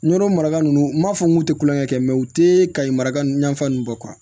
Nɔrɔ maraga nunnu n'a fɔ n kun te kulonkɛ kɛ u tɛ kayi maraka ninnu bɔ